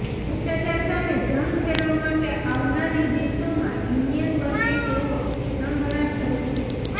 ભ્રષ્ટાચાર સામે જંગ છેડવા માટે આવનાર દિવસોમાં યુનિયન બને તેવો ચણભણાટ શરૃ થયો છે